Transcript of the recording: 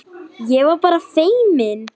Ég var bara feimin!